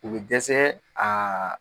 O bɛ dɛsɛ a